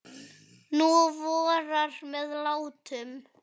Nú vorar með látum.